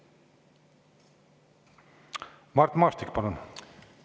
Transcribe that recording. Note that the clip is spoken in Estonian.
Mart Maastik, palun!